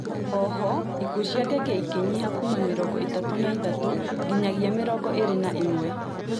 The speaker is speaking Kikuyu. Ooho ikuũ cia ngenge ikĩnyiha kuuma mĩrongo ĩtatũ na ithatũ nginyagia mĩrongo ĩĩrĩ na ĩmwe